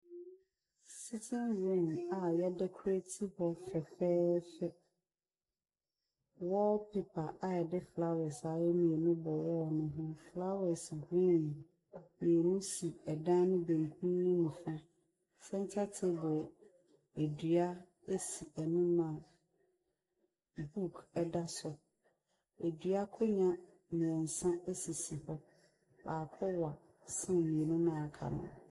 Sitin rum a yɛa dɛkorati hɔ fɛfɛɛfɛ. Wɔɔlpepa a yɛde flawɛs s ayɛ ɛmu bɔ wɔɔl no ho. Flawɛs grin mmienu esi ɛdan no benkum ne nifa, sɛnta teebol adua esi anima buuk ɛda so. Adua konwa mmiensa esisi hɔ. Baako wa sen mmienu na aka nu.